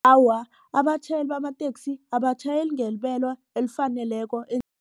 Awa, abatjhayeli bamateksi abatjhayeli ngebelo elifaneleko